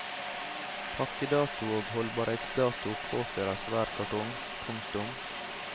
Pakkedato og holdbarhetsdato påføres hver kartong. punktum